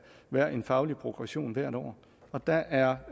være en faglig progression hvert år og der er